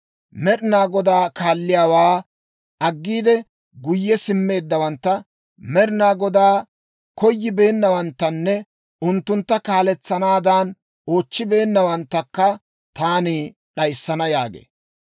Med'inaa Godaa kaalliyaawaa aggiide guyye simmeeddawantta, Med'inaa Godaa koyibeennawanttanne unttuntta kaaletsanaadan oochchibeennawanttakka taani d'ayissana» yaagee.